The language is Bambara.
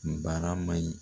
N barama in